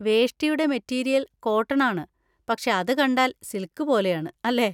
വേഷ്ടിയുടെ material cotton ആണ്, പക്ഷേ അത് കണ്ടാൽ സിൽക്ക് പോലെയാണ്, അല്ലേ?